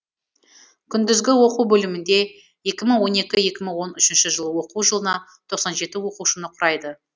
күндізгі оқу бөлімінде екі мың он екі екі мың он үш оқу жылына тоқсан жеті оқушыны құрайды